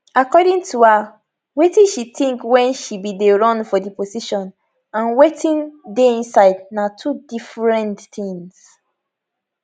according to her wetin she tink wen she bin dey run for di position and wetin dey inside na two different things